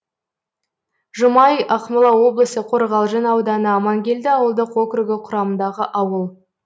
жұмай ақмола облысы қорғалжын ауданы амангелді ауылдық округі құрамындағы ауыл